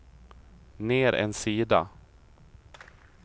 ner en sida